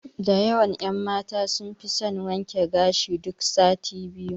Da yawan ƴan mata sun fi son wanke gashi duk sati biyu.